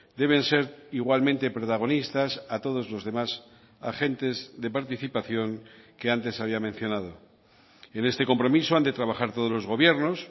deben ser igualmente protagonistas a todos los demás agentes de participación que antes había mencionado en este compromiso han de trabajar todos los gobiernos